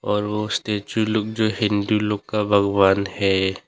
और ओ स्टैचू लोग जो हिंदू लोग का भगवान है।